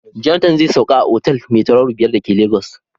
Jonathan zai sauka a otal mai tauraro biyar da ke Lagos.